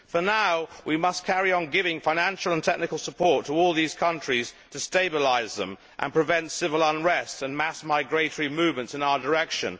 For now we must carry on giving financial and technical support to all these countries to stabilise them and prevent civil unrest and mass migratory movements in our direction.